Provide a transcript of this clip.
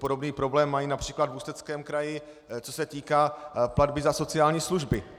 Podobný problém mají například v Ústeckém kraji, co se týká platby za sociální služby.